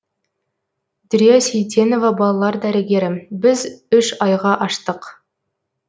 дүрия сейтенова балалар дәрігері біз үш айға аштық